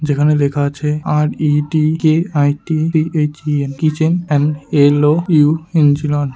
যেখানে দেখাযাচ্ছে R. E. T. K. I. T. B. H. E. N. Kitchen and L. O .U. |